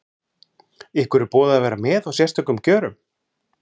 Ykkur er boðið að vera með á sérstökum kjörum?